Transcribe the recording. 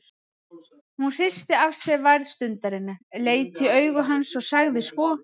Hún hristi af sér værð stundarinnar, leit í augu hans og sagði svo